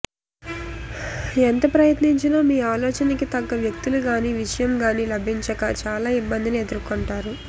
ఎంత ప్రయత్నించినా మీ ఆలోచనకి తగ్గ వ్యక్తులుగాని విషయంగాని లభించక చాలా ఇబ్బందిని ఎదుర్కొంటారు